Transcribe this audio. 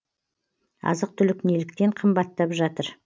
азық түлік неліктен қымбаттап жатыр